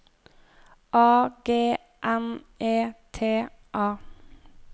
A G N E T A